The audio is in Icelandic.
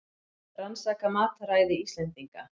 Rannsaka mataræði Íslendinga